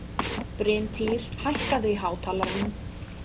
Bryntýr, hækkaðu í hátalaranum.